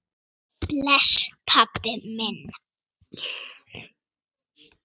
Bless, pabbi minn.